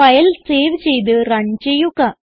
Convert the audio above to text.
file save ചെയ്ത് run ചെയ്യുക